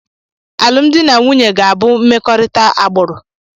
Alụmdi na nwunye m ga-abụ mmekọrịta agbụrụ.